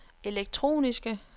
elektroniske